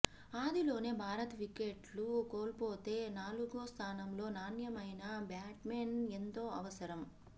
ఆదిలోనే భారత్ వికెట్లు కోల్పోతే నాలుగో స్థానంలో నాణ్యమైన బ్యాట్స్మెన్ ఎంతో అవసరం